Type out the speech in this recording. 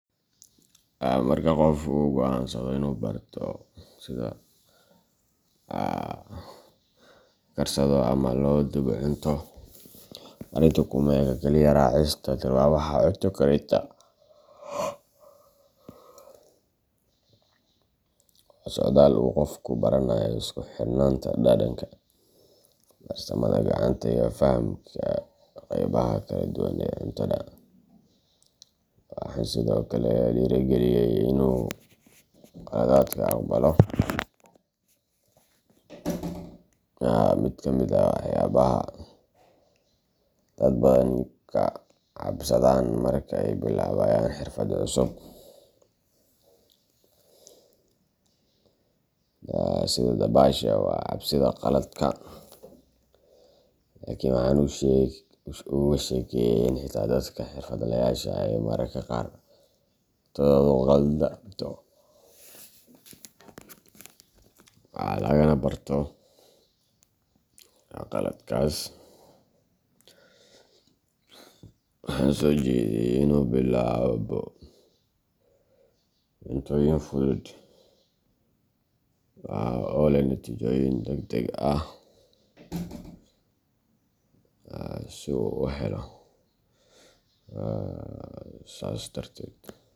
Marka qof uu go’aansado inuu barto sida loo karsado ama loo dubo cunto, arrintu kuma eka keliya raacista tilmaamaha cunto karinta; waa socdaal uu qofku ku baranayo isku xirnaanta dhadhanka, farsamada gacanta, iyo fahamka qaybaha kala duwan ee cuntada. Waxaan sidoo kale dhiirrigeliyay in uu khaladka aqbalo. Mid ka mid ah waxyaabaha dad badan ka cabsadaan marka ay bilaabayaan xirfad cusub sida dabashada waa cabsida khaladka. Laakiin waxaan uga sheekeeyay in xitaa dadka xirfadlayaasha ah ay mararka qaar cuntadoodu khaldanto, lagana barto khaladkaas. Waxaan soo jeediyay in uu bilaabo cuntooyin fudud oo leh natiijooyin degdeg ah, si uu u helo sas darted.